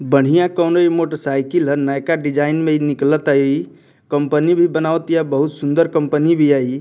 बढ़िया motor cycle हअ नयका डिजाइन में निकलाता इ कम्पनी भी बनावतिया बहुत सुन्दर कम्पनी भी है इ।